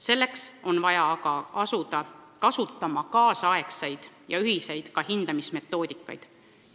Selleks on vaja aga asuda kasutama kaasaegseid ja ühiseid hindamismetoodikaid.